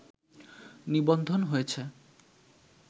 নিবন্ধন হয়েছে